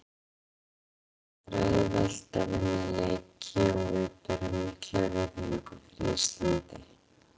Það er aldrei auðvelt að vinna leiki og við berum mikla virðingu fyrir Íslandi.